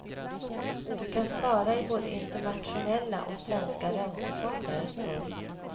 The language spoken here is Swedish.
Du kan spara i både internationella och svenska räntefonder. punkt